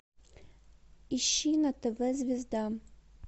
ищи на тв звезда